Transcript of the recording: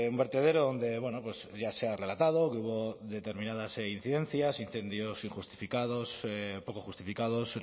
un vertedero donde bueno pues ya se ha relatado que hubo determinadas incidencias incendios injustificados poco justificados